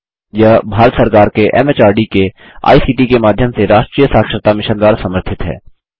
यह भारत सरकार के एमएचआरडी के आईसीटी के माध्यम से राष्ट्रीय साक्षरता मिशन द्वारा समर्थित है